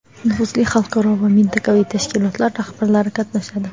nufuzli xalqaro va mintaqaviy tashkilotlar rahbarlari qatnashadi.